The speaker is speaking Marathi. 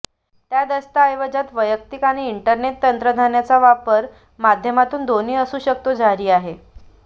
त्या दस्तऐवजात वैयक्तिक आणि इंटरनेट तंत्रज्ञानाचा वापर माध्यमातून दोन्ही असू शकतो जारी आहे